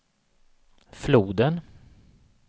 floden